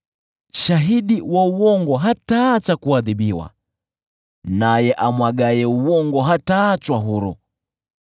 Shahidi wa uongo hataacha kuadhibiwa, naye amwagaye uongo hataachwa huru.